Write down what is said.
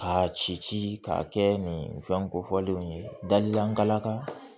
Ka ci ci k'a kɛ nin fɛn kofɔlenw ye dalila an ka laka